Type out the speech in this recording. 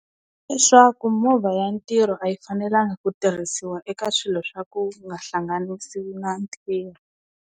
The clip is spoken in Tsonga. Leswaku movha ya ntirho a yi fanelanga ku tirhisiwa eka swilo swa ku nga hlanganisiwi na ntirho.